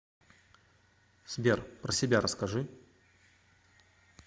сбер про себя расскажи